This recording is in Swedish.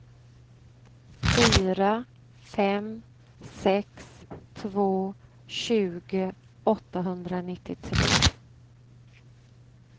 fyra fem sex två tjugo åttahundranittiotre